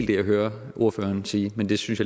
det jeg hører ordføreren sige men det synes